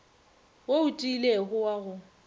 wo o tiilego wa go